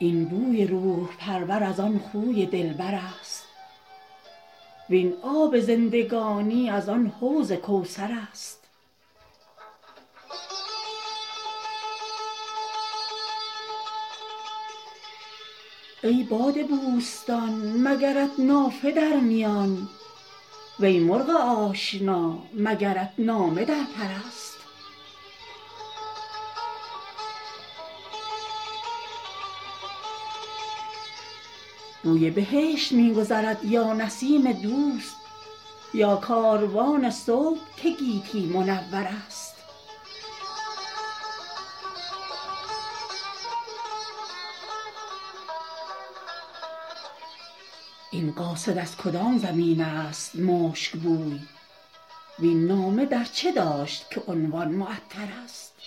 این بوی روح پرور از آن خوی دلبر است وین آب زندگانی از آن حوض کوثر است ای باد بوستان مگرت نافه در میان وی مرغ آشنا مگرت نامه در پر است بوی بهشت می گذرد یا نسیم دوست یا کاروان صبح که گیتی منور است این قاصد از کدام زمین است مشک بوی وین نامه در چه داشت که عنوان معطرست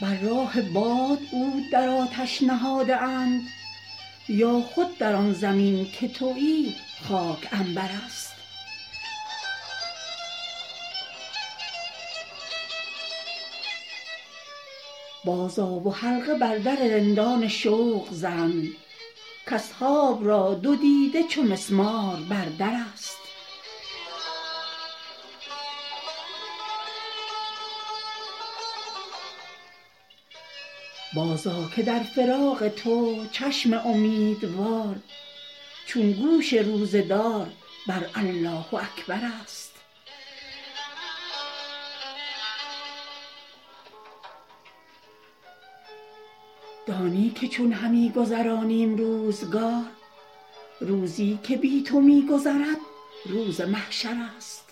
بر راه باد عود در آتش نهاده اند یا خود در آن زمین که تویی خاک عنبر است بازآ و حلقه بر در رندان شوق زن کاصحاب را دو دیده چو مسمار بر در است بازآ که در فراق تو چشم امیدوار چون گوش روزه دار بر الله اکبر است دانی که چون همی گذرانیم روزگار روزی که بی تو می گذرد روز محشر است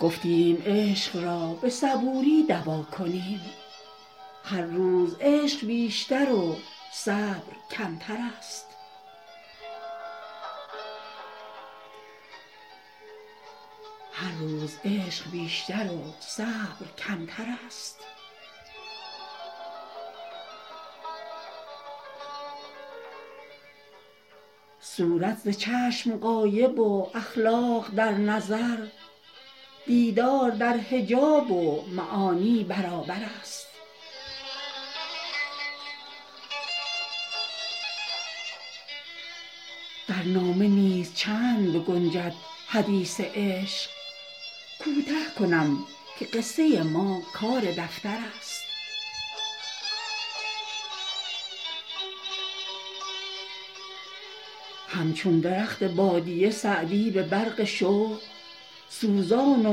گفتیم عشق را به صبوری دوا کنیم هر روز عشق بیشتر و صبر کمتر است صورت ز چشم غایب و اخلاق در نظر دیدار در حجاب و معانی برابر است در نامه نیز چند بگنجد حدیث عشق کوته کنم که قصه ما کار دفتر است همچون درخت بادیه سعدی به برق شوق سوزان و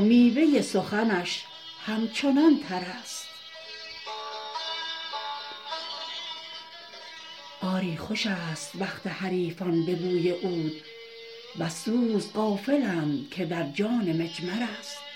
میوه سخنش همچنان تر است آری خوش است وقت حریفان به بوی عود وز سوز غافلند که در جان مجمر است